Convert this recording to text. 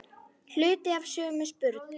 Hluti af sömu spurn.